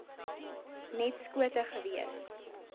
net skote gewees